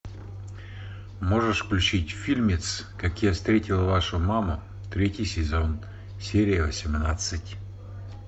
можешь включить фильмец как я встретил вашу маму третий сезон серия восемнадцать